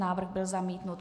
Návrh byl zamítnut.